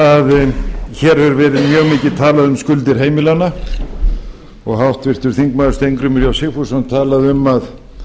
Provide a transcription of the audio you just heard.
að mjög mikið hefur verið talað um skuldir heimilanna og háttvirtur þingmaður steingrímur j sigfússon talaði um að